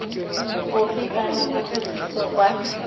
ofe kana ofe pitso kwa